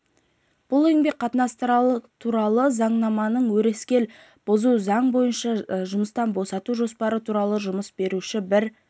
бұл еңбек қатынастары туралы заңнаманы өрескел бұзу заң бойынша жұмыстан босату жоспары туралы жұмыс беруші бір